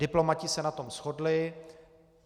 Diplomaté se na tom shodli.